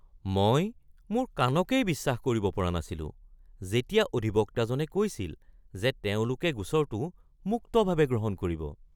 মই মোৰ কাণকেই বিশ্বাস কৰিব পৰা নাছিলো যেতিয়া অধিবক্তাজনে কৈছিল যে তেওঁলোকে গোচৰটো মুক্তভাৱে গ্ৰহণ কৰিব।